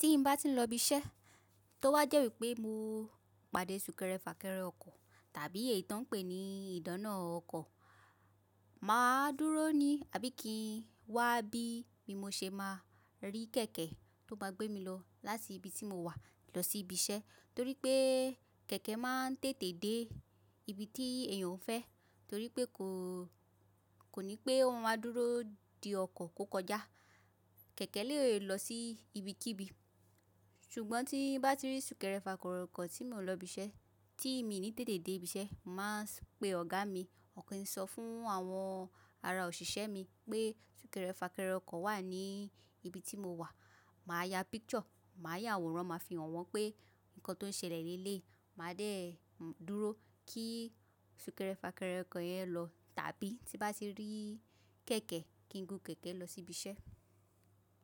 Bi n bá ti ń lọ ibi iṣẹ́, tó wá jẹ́ wípé mo pade sùnkẹ́rẹ́ fàkerẹ́ ọkọ̀ tàbí èyí ti won pè ní ìdáná ọkọ̀, mà á dúró ní abíkí wá bí mo ṣe máa rí kẹ̀kẹ́ tó máa gbé mi lọ láti ibi tí mo wà lọ sí ibi iṣẹ́. Torí pé kẹ̀kẹ́ máa ń tètè dé ibi tí èèyàn ń fẹ́, torí pé kò, kò ní pé ó máa dúró de ọkọ̀ kó kọjá. Kẹ̀kẹ́ lè lọ sí ibikíbi. Ṣùgbọ́n tí n bá ti rí sùnkẹ́rẹ́ fàkẹ́rẹ́ ọkọ̀ tí mò ń lọ ibi iṣẹ́, tí mi ò ní tètè dé ibi iṣẹ́, mà á pé Ọ̀gá mi, kí n sọ fún àwọn ará òṣìṣẹ́ mi pé sùnkẹ́rẹ́ fàkẹ́rẹ́ ọkọ̀ wà ní ibi tí mo wà. Mà á ya picture, mà á ya àwòrán, màá fi hàn wọ́n pé nǹkan tó ń ṣẹlẹ̀ ní eleyi Mà á dé dúró kí sùnkẹ́rẹ́ fàkẹ́rẹ́ ọkọ̀ yẹn lọ tàbí tí n bá ti rí kẹ̀kẹ́, kí n gún kẹ̀kẹ́ lọ sí ibi iṣẹ́.